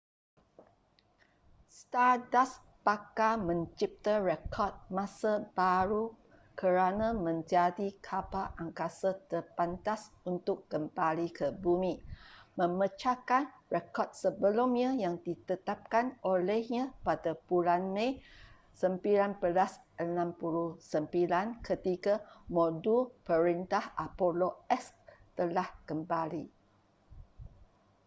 stardust bakal mencipta rekod masa baharu kerana menjadi kapal angkasa terpantas untuk kembali ke bumi memecahkan rekod sebelumnya yang ditetapkan olehnya pada bulan mei 1969 ketika modul perintah apollo x telah kembali